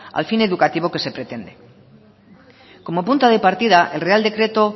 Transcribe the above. al fin educativo que se pretende como punto de partida el real decreto